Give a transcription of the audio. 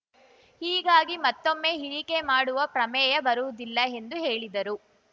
ಹೀಗಾಗಿ ಮತ್ತೊಮ್ಮೆ ಇಳಿಕೆ ಮಾಡುವ ಪ್ರಮೇಯ ಬರುವುದಿಲ್ಲ ಎಂದು ಹೇಳಿದರು